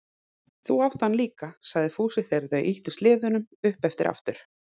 Þú átt hann líka, sagði Fúsi þegar þau ýttu sleðunum upp eftir aftur.